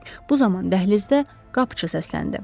Bu zaman dəhlizdə qapıçı səsləndi.